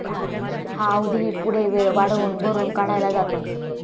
हा अवधीही पुढे वेळ वाढवून भरून काढला जातो.